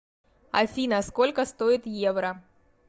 афина сколько стоит евро